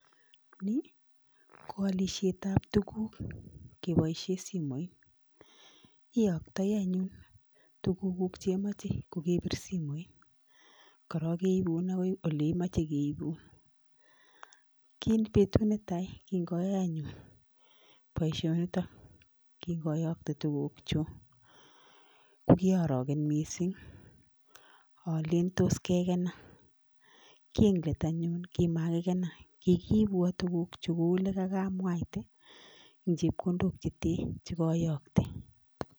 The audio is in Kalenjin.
Ni koalishetab tuguk keboishen simoit, iyoktoi anyun tugukuk che imoche kogebir simoit, keibun agoi ole imoche keibun. Betut netai kinoyae anyun boisionito, kingoyokte tugugchuk ko kyooroken missing alen tos kegenan. Kit keit anyun komakikenan, kigiibwan tuguk kou ole kogoyokte en chepkondok chete chekoyokte.